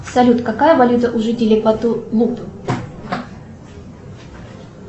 салют какая валюта у жителей пату луп